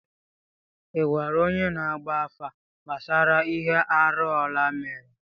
Ị gwara onye na-agba afa gbasara ihe arụ Ọla mere?